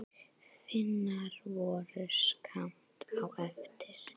Finnar voru skammt á eftir.